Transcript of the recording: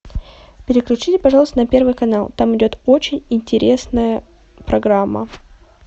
переключите пожалуйста на первый канал там идет очень интересная программа